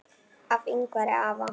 Hjá Yngvari afa